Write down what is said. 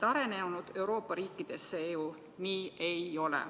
Arenenud Euroopa riikides see ju nii ei ole.